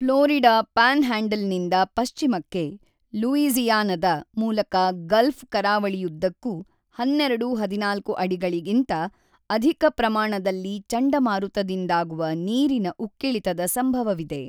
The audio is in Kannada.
ಫ್ಲೋರಿಡಾ ಪ್ಯಾನ್‌ಹ್ಯಾಂಡಲ್‌ನಿಂದ ಪಶ್ಚಿಮಕ್ಕೆ ಲೂಯಿಜಿ಼ಯಾನದ ಮೂಲಕ ಗಲ್ಫ್ ಕರಾವಳಿಯುದ್ದಕ್ಕೂ ೧೨-೧೪ ಅಡಿಗಳಿಗಿಂತ ಅಧಿಕ ಪ್ರಮಾಣದಲ್ಲಿ ಚಂಡಮಾರುತದಿಂದಾಗುವ ನೀರಿನ ಉಕ್ಕಿಳಿತದ ಸಂಭವವಿದೆ.